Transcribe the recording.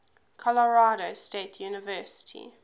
colorado state university